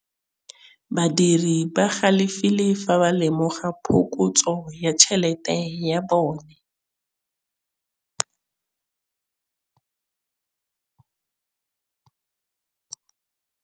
Badiri ba galefile fa ba lemoga phokotsô ya tšhelête ya bone.